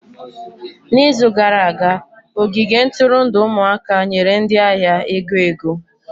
N'izu gara aga, ogige nturundu ụmụaka nyere ndị ahịa ego ego.